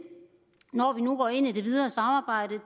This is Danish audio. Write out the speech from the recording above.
når vi nu går ind i det videre samarbejde